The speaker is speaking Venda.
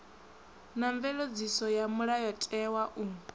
na mveledziso ya mulayotewa u